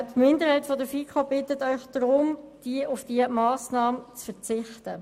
Die FiKo-Minderheit bittet Sie deshalb, auf diese Massnahme zu verzichten.